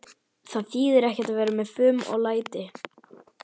Það þýðir ekkert að vera með fum og læti.